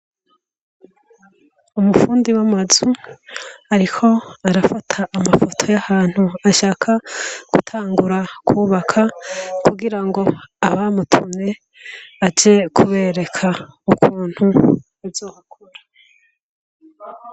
Umufundi w'amazu, ariko arafata amafoto y'ahantu ashaka gutangura kwubaka, kugira ngo abamutumye, aje kubereka ukuntu bazohakora.